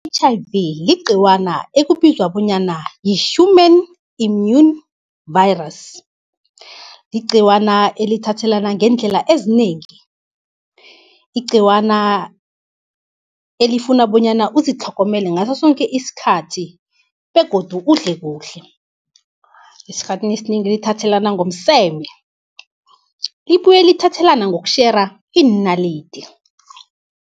I-H_I_V ligciwana ekubizwa bonyana yi-Human immune virus. Ligciwana elithathelana ngeendlela ezinengi, igciwana elifuna bonyana uzitlhogomele ngaso soke isikhathi begodu udle kuhle. Esikhathini esinengi lithathelana ngomseme, libuye lithathelana ngokutjhera iinalidi.